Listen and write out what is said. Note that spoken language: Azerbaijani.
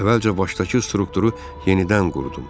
Əvvəlcə başdakı strukturu yenidən qurdum.